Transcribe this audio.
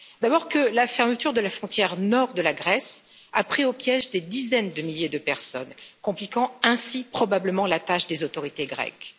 D'abord, que la fermeture de la frontière nord de la Grèce a pris au piège des dizaines de milliers de personnes, compliquant ainsi probablement la tâche des autorités grecques.